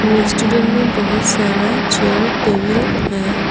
Restaurant मे बहुत सारा चेयर टेबल है।